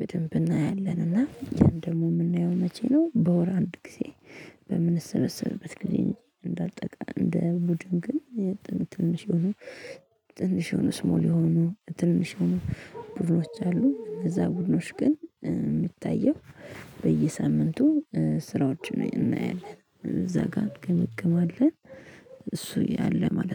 በደንብ እናያለን። እና ያን ደግሞ የምናየው መቼ ነው? በወር አንድ ጊዜ። በምንሰበሰበት ጊዜ እንዳጠቃ እንደ ቡድን ግን። ትንሽ ሆኖ ትንሽ የሆኑ ስሞል የሆኑ ትንሽ የሆኑ ቡድኖች አሉ። እንነዛ ቡድኖች ግን የሚታየው በየሳምንቱ ስራዎች እናያለን እዛ ጋር እንገመግማለን እሱ እያለ ማለት ነው